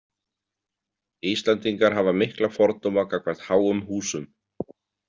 Íslendingar hafa mikla fordóma gagnvart háum húsum.